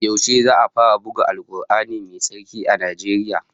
Yaushe za'a fara buga Al-Qur'ani Mai tsarki a Najeriya?